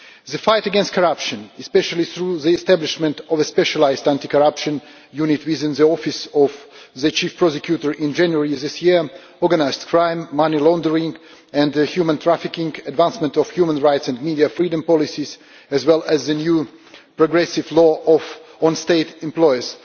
The fight against corruption especially through the establishment of a specialised anti corruption unit within the office of the Chief Prosecutor in January this year organised crime, money laundering and human trafficking, the advancement of human rights and media freedom policies, as well as the new progressive law on state employers